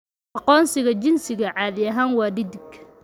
Aqoonsiga jinsiga caadi ahaan waa dhedig.